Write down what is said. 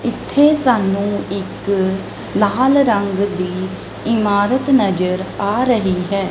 ਇੱਥੇ ਸਾਨੂੰ ਇੱਕ ਲਾਲ ਰੰਗ ਦੀ ਇਮਾਰਤ ਨਜ਼ਰ ਆ ਰਹੀ ਹੈ।